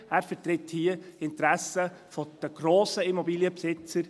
Er vertritt hier die Interessen der grossen Immobilienbesitzer.